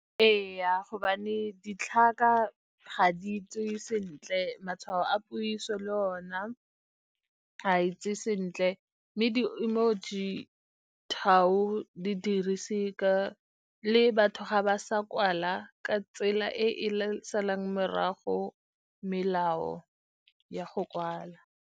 Ee, gobane ditlhaka ga di tswe sentle, matshwao a puiso le ona ga itse sentle, mme di-emoji dirise , le batho ga ba sa kwala ka tsela e e morago melao ya go kwala.